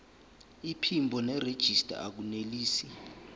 iphimbo nerejista akunelisi